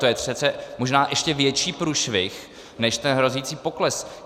To je přece možná ještě větší průšvih než ten hrozící pokles!